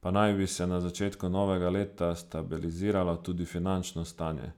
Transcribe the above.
pa naj bi se na začetku novega leta stabiliziralo tudi finančno stanje.